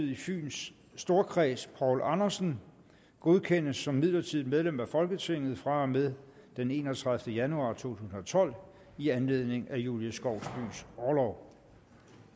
i fyns storkreds poul andersen godkendes som midlertidigt medlem af folketinget fra og med den enogtredivete januar to tusind og tolv i anledning af julie skovsbys orlov